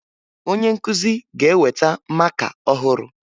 Onye nkụzi ga-eweta maka ọhụrụ